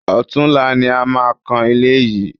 Ọ̀tunla ni a máa kan ilé yìí